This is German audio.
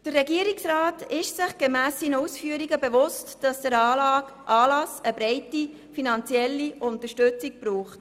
Der Regierungsrat ist sich gemäss seinen Ausführungen bewusst, dass der Anlass eine breite finanzielle Unterstützung benötigt.